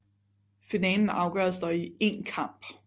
Finalen afgøres dog i én kamp